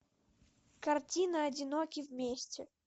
картина одиноки вместе